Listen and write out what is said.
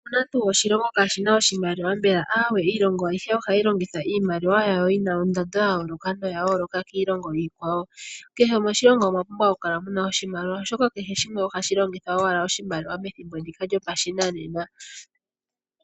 Opuna tuu oshilongo shaana oshimaliwa mbela? Aawe, oshilongo kehe oshina oshimaliwa ohayi longitha iimaliwa yina nondando yayooloka noyayooloka kiilongo iikwawo. Kehe moshilongo omwapumbwa okukala muna oshimaliwa oshoka kehe shimwe ohashi longitha owala oshimaliwa pethimbo ndika lyongaashingeyi.